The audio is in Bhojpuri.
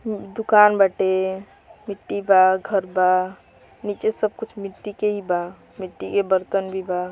हूँ दुकान बाटे मिट्टी बा घर बा नीचे सब कुछ मिट्टी के ही बा। मिट्टी के बर्तन ही भी बा।